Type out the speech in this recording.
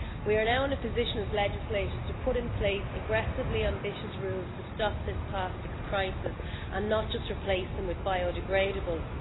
We are now in a position as legislators to put in place aggressively ambitious rules to stop this plastics crisis and not just replace them with biodegradables.